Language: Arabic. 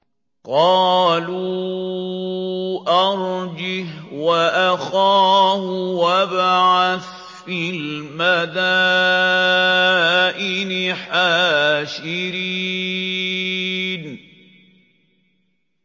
قَالُوا أَرْجِهْ وَأَخَاهُ وَابْعَثْ فِي الْمَدَائِنِ حَاشِرِينَ